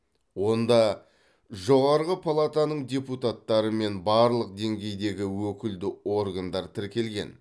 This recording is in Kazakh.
онда жоғарғы палатаның депутаттары мен барлық деңгейдегі өкілді органдар тіркелген